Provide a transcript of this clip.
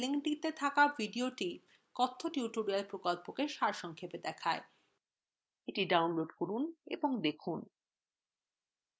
the download করুন এবং দেখুন